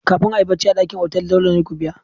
Kafin a yi barci a dakin otal dole ne ku biya.